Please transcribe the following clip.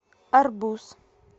арбуз